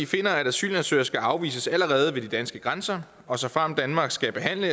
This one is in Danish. finder at asylansøgere skal afvises allerede ved de danske grænser og såfremt danmark skal behandle